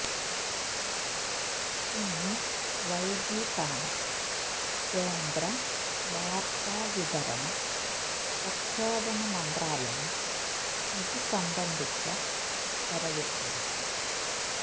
ഇന്ന് വൈകിട്ടാണ് കേന്ദ്ര വാർത്താ വിതരണ പ്രക്ഷേപണ മന്ത്രാലയം ഇത് സംബന്ധിച്ച ഉത്തരവിട്ടത്